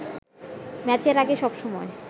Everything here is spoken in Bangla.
ম্যাচের আগে সবসময়